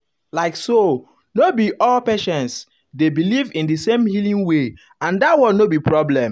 like so um no be um all patients dey believe in the same healing way and that one no be problem.